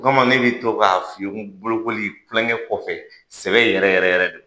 Burama ne bɛ to k'a fi bolokoli tulonkɛ kɔfɛ sɛbɛ yɛrɛ yɛrɛ yɛrɛ don